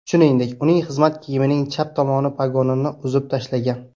Shuningdek, uning xizmat kiyimining chap tomon pogonini uzib tashlagan.